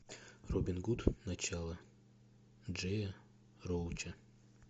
робин гуд начало джея роуча